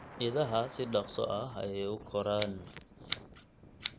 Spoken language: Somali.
Idaha si dhakhso ah ayay u koraan.